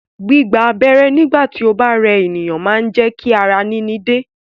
Gbígba abẹ́rẹ́ nígbà tí ó bá rẹ ènìyàn máa ń mú kí ara níní dẹ̀